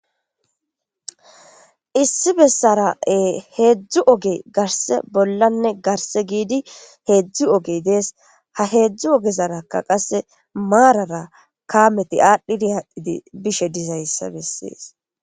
issi bessara hedzu ogeyi garisse bollane garisse gidi hedzu ogeyi dessi ha hedzu ogeraka kameti adhidi adhidi bishe dizayissa besesi